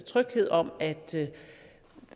tryghed om at